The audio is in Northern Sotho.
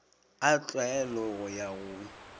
a tlwaelo go ya go